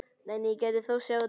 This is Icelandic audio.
Nei, nei, ég gæti þóst sjá þá.